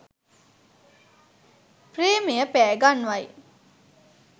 ප්‍රේමය පෑ ගන්වයි